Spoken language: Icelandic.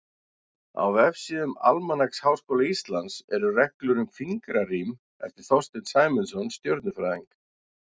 Á vefsíðum Almanaks Háskóla Íslands eru reglur um fingrarím, eftir Þorsteinn Sæmundsson stjörnufræðing.